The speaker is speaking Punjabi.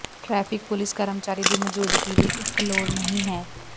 ਟਰੈਫਿਕ ਪੁਲੀਸ ਕਰਮਚਾਰੀ ਦੀ ਮੌਜੂਦਗੀ ਲਈ ਇੱਕ ਲੋੜ ਨਹੀ ਹੈ